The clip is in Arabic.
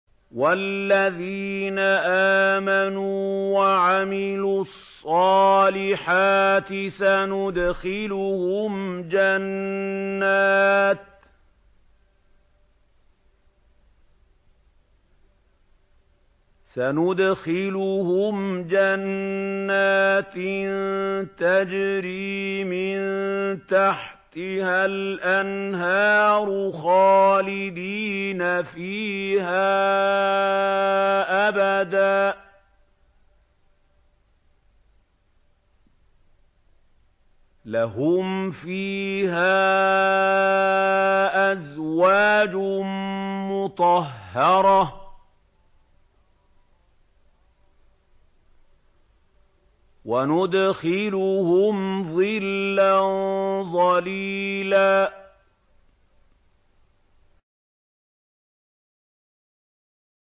وَالَّذِينَ آمَنُوا وَعَمِلُوا الصَّالِحَاتِ سَنُدْخِلُهُمْ جَنَّاتٍ تَجْرِي مِن تَحْتِهَا الْأَنْهَارُ خَالِدِينَ فِيهَا أَبَدًا ۖ لَّهُمْ فِيهَا أَزْوَاجٌ مُّطَهَّرَةٌ ۖ وَنُدْخِلُهُمْ ظِلًّا ظَلِيلًا